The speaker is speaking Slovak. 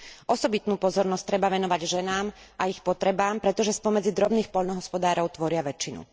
Osobitnú pozornosť treba venovať ženám a ich potrebám, pretože spomedzi drobných poľnohospodárov tvoria väčšinu.